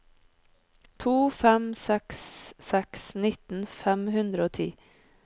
to fem seks seks nitten fem hundre og ti